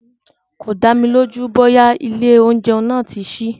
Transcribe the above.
Kò dámi lójú bóyá ilé oúnjẹ náà tí sí.